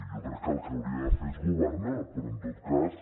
jo crec que el que hauria de fer és governar però en tot cas